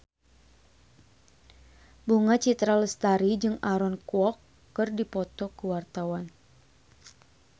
Bunga Citra Lestari jeung Aaron Kwok keur dipoto ku wartawan